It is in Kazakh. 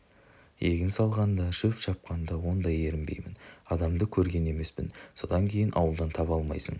егін салғанда шөп шапқанда ондай ерінбеймін адамды көрген емеспін содан кейін ауылдан таба алмайсың